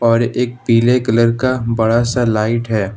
और एक पीले कलर का बड़ा सा लाइट है।